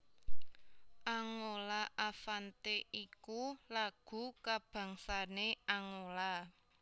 Angola Avante iku lagu kabangsané Angola